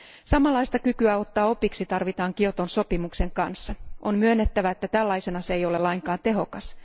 Samanlaista kykyä ottaa opiksi tarvitaan Kioton sopimuksen tapauksessa On myönnettävä, että tällaisena se ei ole lainkaan tehokas.